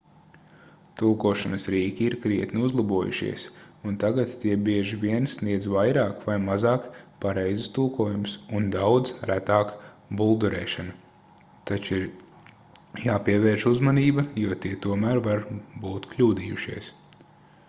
tulkošanas rīki ir krietni uzlabojušies un tagad tie bieži vien sniedz vairāk vai mazāk pareizus tulkojumus un daudz retāk buldurēšanu taču ir jāpievērš uzmanība jo tie tomēr var būt kļūdījušies